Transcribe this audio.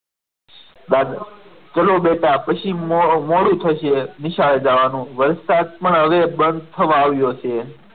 ચાલો બેટા પછી મોડું થશે નિશાળે જવાનું વરસાદ પણ હવે બંધ થવા આવ્યો છે.